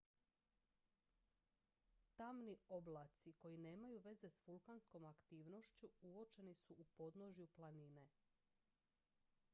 tamni oblaci koji nemaju veze s vulkanskom aktivnošću uočeni su u podnožju planine